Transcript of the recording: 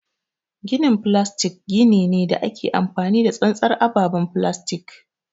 Ginin filastik gini ne da ake amfani da tsantsar ababen filastik.